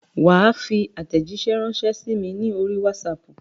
Wà á fi àtèjíṣẹ́ rànṣẹ́ sí mi ní orí Wásaapù